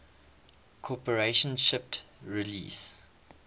corporation shipped release